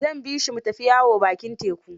Zan bi shi mu tafi yawo bakin teku.